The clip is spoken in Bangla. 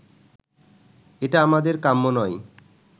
এটা আমাদের কাম্য নয়